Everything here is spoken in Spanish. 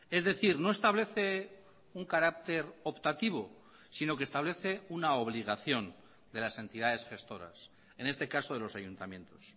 es decir no establece un carácter optativo sino que establece una obligación de las entidades gestoras en este caso de los ayuntamientos